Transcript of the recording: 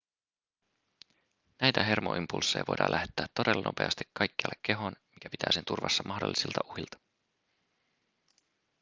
näitä hermoimpulsseja voidaan lähettää todella nopeasti kaikkialle kehoon mikä pitää sen turvassa mahdollisilta uhilta